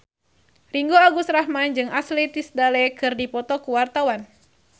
Ringgo Agus Rahman jeung Ashley Tisdale keur dipoto ku wartawan